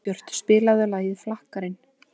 Árbjört, spilaðu lagið „Flakkarinn“.